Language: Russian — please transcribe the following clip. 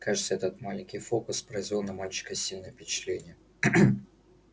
кажется этот маленький фокус произвёл на мальчика сильное впечатление